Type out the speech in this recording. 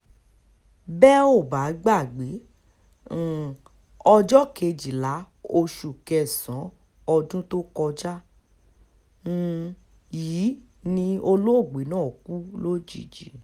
bẹ́ ò bá gbàgbé um ọjọ́ kejìlá oṣù kẹsàn-án ọdún tó kọjá um yìí ni olóògbé náà kú lójijì